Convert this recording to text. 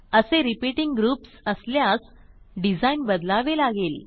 असे repeating groups असल्यास design बदलावे लागेल